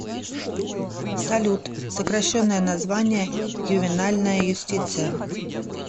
салют сокращенное название ювенальная юстиция